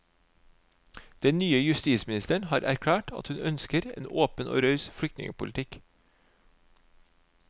Den nye justisministeren har erklært at hun ønsker en åpen og raus flyktningpolitikk.